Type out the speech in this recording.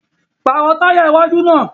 Paarọ taya iwaju naa!